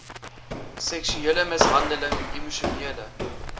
seksuele mishandeling emosionele